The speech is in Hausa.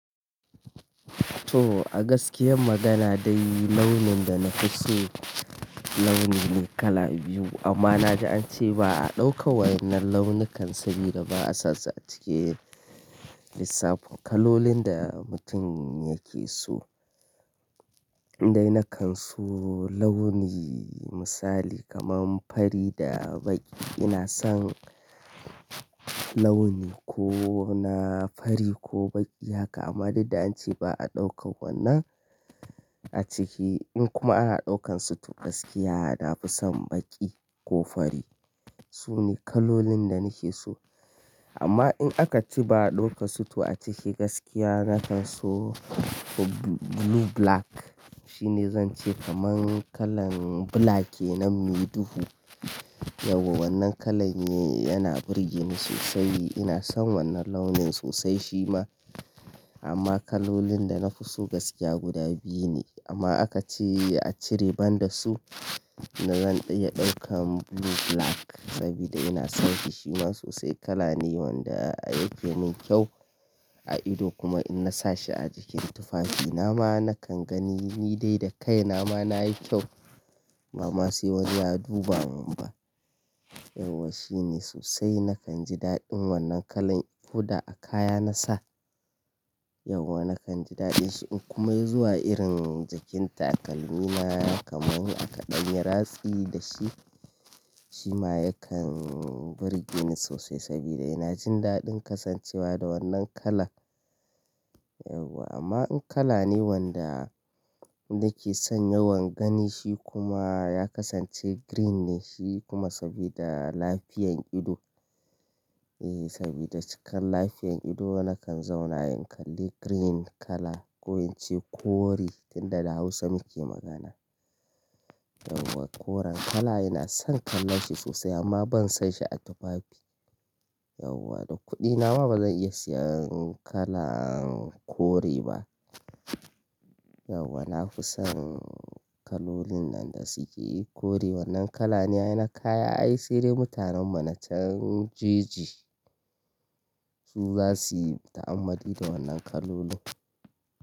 To a gaskiya magana dai launin da na fi so launi ne kala biyu amma na ji an ce ba a ɗauka wa wannan launukan saboda ba a sassa a cike lissafin kalolin da mutum yake so. Dai na kan so launi misali kamar fari da baƙi. Ina son launi ko na fari ko baƙi haka amma daddare an ce ba a ɗauka wannan a ciki in kuma ana ɗaukansu to gaskiya na fi son baƙi ko fari. Su ne kalolin da na ke so amma in aka ce ba a ɗauka su to a ciki gaskiya na kan so blue black. Shi ne zan ce kamar kalan black ne nan mai duhu. Yau wannan kalan ne yana burge ni sosai. Ina son wannan launin sosai shi ma amma kalolin da na fi so gaskiya guda biyu ne amma aka ce a cire banda su na zan iya ɗaukan blue black saboda ina son shi shi ma sosai kala ne wanda yake min kyau a ido kuma in na sa shi a jikin tufafi na ma na kan gani ni dai da kai na ma nayi kyau. Ba ma sai wani ya duba mun ba. Yauwa shi ne sosai na kan ji daɗin wannan kalan ko da a kaya na sa. Yauwa na kan ji daɗin shi in kuma ya zuwa irin jikin takalmi na kamar aka ɗanye ratsi da shi, shi ma yakan burge ni sosai saboda ina jin daɗin kasancewa da wannan kala. Yauwa amma in kala ne wanda nake son yawan gani shi kuma ya kasance green ne shi kuma saboda lafiyan ido. Eh saboda cikin lafiyan ido na kan zauna in kalli green kala ko in ce kore danda da Hausa muke magana. Yauwa koren kala ina son kallon shi sosai amma ban san shi a tufafi. Yauwa da kuɗi na ma bazan iya siyan kalan kore ba. Yauwa na fi son kalolin nan da suke kore wannan kala ne a yanar kaya ai sai dai mutanen ma na can jeji su za su yi ta'ammali da wannan kalolin.